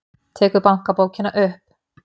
Tekur bankabókina upp.